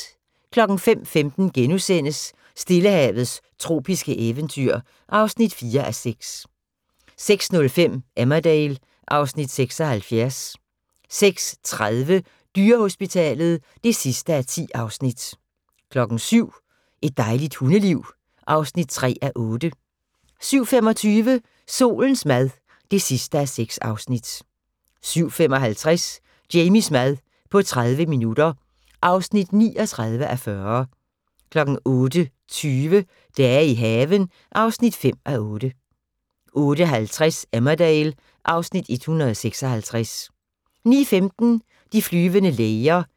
05:15: Stillehavets tropiske eventyr (4:6)* 06:05: Emmerdale (Afs. 76) 06:30: Dyrehospitalet (10:10) 07:00: Et dejligt hundeliv (3:8) 07:25: Solens mad (6:6) 07:55: Jamies mad på 30 minutter (39:40) 08:20: Dage i haven (5:8) 08:50: Emmerdale (Afs. 156) 09:15: De flyvende læger (79:238)